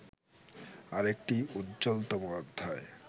আরেকটি উজ্জ্বলতম অধ্যায়